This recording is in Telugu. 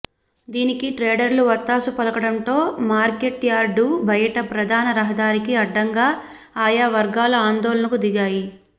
దీనికి ట్రేడర్లు వత్తాసు పలకడంతో మార్కెట్యార్డు బయట ప్రధాన రహదారికి అడ్డంగా ఆయా వర్గాలు ఆందోళనకు దిగాయి